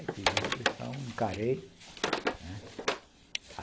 Aí fiz a inscrição, encarei, né?